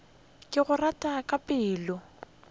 ke go rata ka pelo